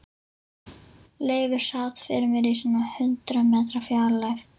Leifur sat fyrir mér í svona hundrað metra fjarlægð.